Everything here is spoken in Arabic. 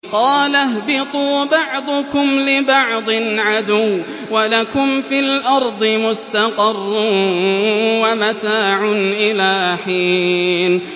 قَالَ اهْبِطُوا بَعْضُكُمْ لِبَعْضٍ عَدُوٌّ ۖ وَلَكُمْ فِي الْأَرْضِ مُسْتَقَرٌّ وَمَتَاعٌ إِلَىٰ حِينٍ